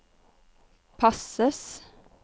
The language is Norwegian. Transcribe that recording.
passes